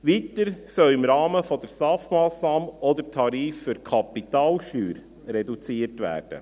Weiter soll im Rahmen der STAF-Massnahme auch der Tarif für die Kapitalsteuer reduziert werden.